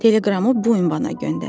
Teleqramı bu ünvana göndərin.